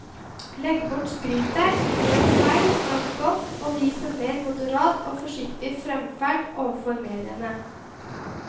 Legg bort skrytet, innrøm feil som er begått, og vis en mer moderat og forsiktig fremferd overfor mediene.